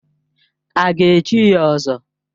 A ga-echi ya ỌZỌ?